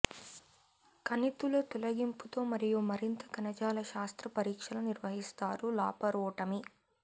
కణితుల తొలగింపుతో మరియు మరింత కణజాల శాస్త్ర పరీక్షలు నిర్వహిస్తారు లాపరోటమీ